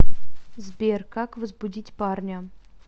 сбер как возбудить парня